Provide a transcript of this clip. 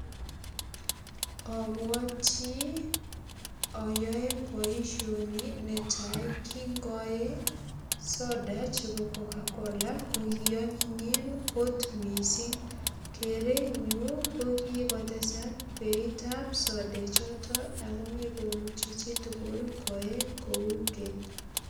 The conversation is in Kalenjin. Ambwati ayoe boisioni netai kingae soda chebo cocacola ko kianyinyen kot mising. Kerinyu ko kigotesak beitab sodechoto ago megomuchi chi tugul koe kou keny.